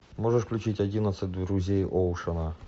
можешь включить одиннадцать друзей оушена